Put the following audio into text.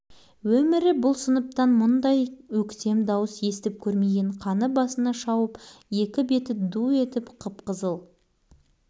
дауыс шыққан жаққа қарамай жүре берді жүре бермей не болыпты дауыс иесін бірден білді бауыржан бұларға